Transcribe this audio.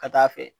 Ka taa fɛ